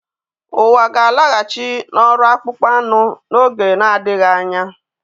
Ụwa ga-alaghachi n'ọrụ akpụkpọ anụ n'oge adịghị anya